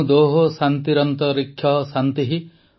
ଓଁ ଦ୍ୱୌଃ ଶାନ୍ତିରନ୍ତରୀକ୍ଷଁ ଶାନ୍ତିଃ